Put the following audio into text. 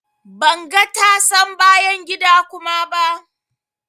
Ban ga tasan bayan gida kuma ba.